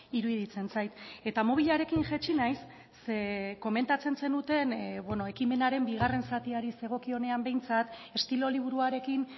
iruditzen zait eta mobilarekin jaitsi naiz ze komentatzen zenuten ekimenaren bigarren zatiari zegokionean behintzat estilo liburuarekin